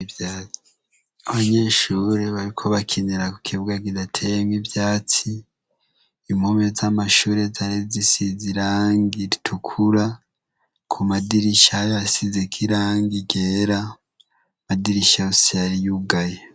abanyeshure bariko bakinira ku kibuga kidateye mw' ivyatsi impome z'amashure zari zisize irangi ritukura ku madirisha hasize kirangi ryera madirisha yose yari yugaye